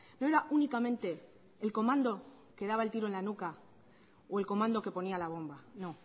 no era únicamente el comando que daba el tiro en la nuca o el comando que ponía la bomba no